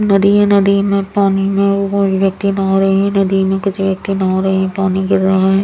नदी हैं नदी में पानी में कोई व्यक्ति नहा रहे है नदी में कुछ व्यक्ति नहा रहे है पानी गिर रहा हैं ।